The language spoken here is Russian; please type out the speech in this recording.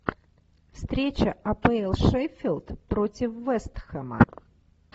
встреча апл шеффилд против вест хэма